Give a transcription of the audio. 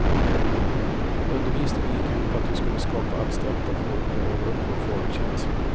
Undervisningen gick ut på att vi skulle skapa abstrakta former och öva upp vår formkänsla.